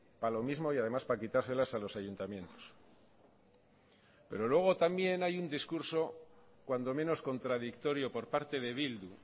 para lo mismo y además para quitárselas a los ayuntamientos pero luego también hay un discurso cuando menos contradictorio por parte de bildu